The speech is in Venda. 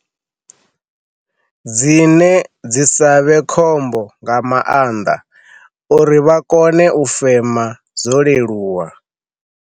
Dzine dzi sa vhe khombo nga maanḓa uri vha kone u fema zwo leluwa.